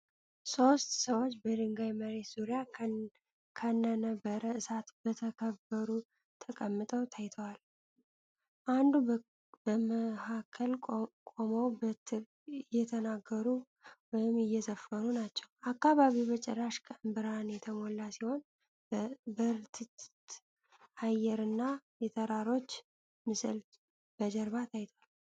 ሶስት ሰዎች በድንጋይ መሬት ዙሪያ ከነነበረ እሳት በተከበሩ ተቀምጠው ታይተዋል። አንዱ በመሃከል ቆመው በትር እየተናገሩ ወይም እየዘፈኑ ናቸው። አካባቢው በጭራሽ ቀን ብርሃን የተሞላ ሲሆን በርትት አየር እና የተራሮች ምስል በጀርባ ታይቷል።